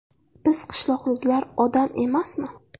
Biz qishloqliklar odam emasmi?